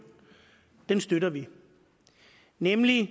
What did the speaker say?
støtter vi nemlig